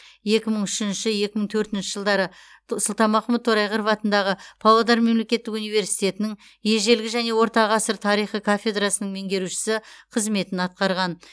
екі мың үшінші екі мың төртінші жылдары сұлтанмахмұт торайғыров атындағы павлодар мемлекеттік университетінің ежелгі және орта ғасыр тарихы кафедрасының меңгерушісі қызметін атқарған